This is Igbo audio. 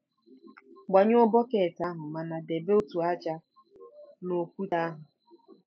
Gbanyụọ bọket ahụ mana debe otu ájá na okwute ahụ.